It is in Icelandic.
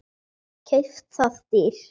Keypt það dýrt.